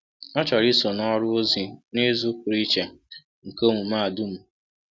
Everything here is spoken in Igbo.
Ọ chọrọ iso na ọrụ ozi n’izu pụrụ iche nke omume a dum.